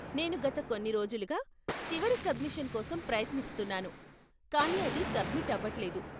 నేను గత కొన్ని రోజులుగా చివరి సబ్మిషన్ కోసం ప్రయత్నిస్తున్నాను, కానీ అది సబ్మిట్ అవట్లేదు.